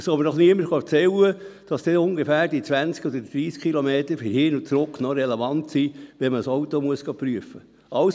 Es soll mir doch niemand erzählen, dass dann die ungefähr zwanzig oder dreissig Kilometer hin und zurück noch relevant seien, wenn man ein Auto prüfen gehen muss.